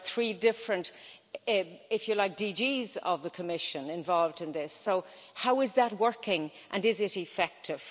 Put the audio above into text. There are three different, if you like, DGs of the Commission involved in this, so how is that working, and is it effective?